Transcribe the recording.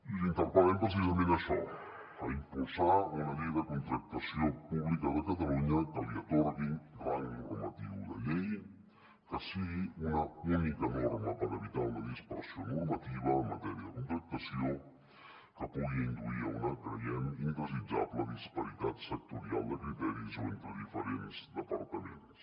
i l’interpel·lem precisament a això a impulsar una llei de contractació pública de catalunya que li atorgui rang normatiu de llei que sigui una única norma per evitar una dispersió normativa en matèria de contractació que pugui induir a una creiem indesitjable disparitat sectorial de criteris o entre diferents departaments